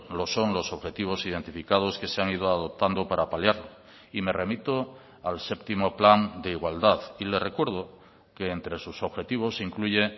lo son los objetivos identificados que se han ido adoptando para paliarlo y me remito al séptimo plan de igualdad y le recuerdo que entre sus objetivos incluye